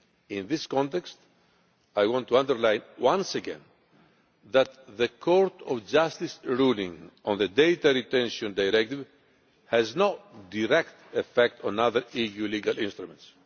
In this context I want to underline once again that the Court of Justice ruling on the Data Retention Directive has no direct effect on other EU legal instruments.